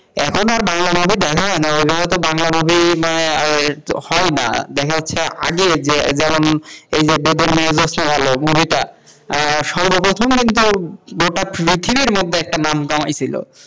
এখন আর বাংলা নাটক দেখা হয় না ওই জন্য তো বাংলা movie হয় না দেখা যাচ্ছে আগে বেদের মেয়ে দেখতে যে আগে, movie টা সর্ব প্রথম মানে গোটা পৃথিবীর মধ্যে একটা নাম কামাইছিলো।